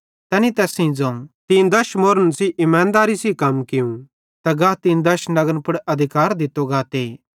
तैनी तैस सेइं ज़ोवं तीं दश अश्रेफेइं सेइं इमानदेरी सेइं कम कियूं गा तीं दश नगरन पुड़ अधिकार दित्तो गाते